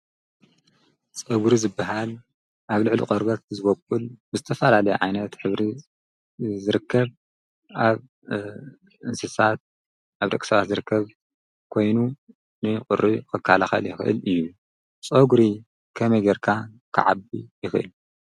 ፀጕሪ ዝብሃል ኣብ ልዕሊ ቖርበት ዝበቁል ብዝተፈላለየ ዓይነት ሕብሪ ዝርከብ ኣብ እንስሳት ኣብ ደቂሰባት ዝርከብ ኮይኑ ንቝሪ ክከላኸል ይኽእል እዩ ፀጕሪ ከመይ ጌርካ ክዓቢ ይኽእል?